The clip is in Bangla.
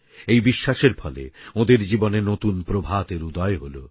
এই বিশ্বাসের ফলে ওঁদের জীবনে নতুন প্রভাতের উদয় হলো